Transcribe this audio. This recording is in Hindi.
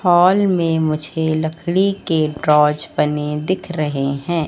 हॉल में मुझे लकड़ी के ड्रॉज़ बने दिख रहे हैं।